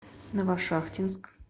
новошахтинск